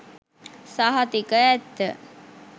සහතික ඇත්ත.